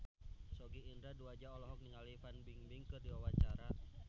Sogi Indra Duaja olohok ningali Fan Bingbing keur diwawancara